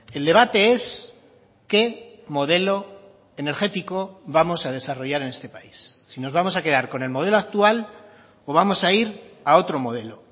el debate es qué modelo energético vamos a desarrollar en este país si nos vamos a quedar con el modelo actual o vamos a ir a otro modelo